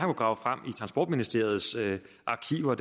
grave frem i transportministeriets arkiver